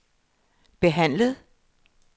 behandlet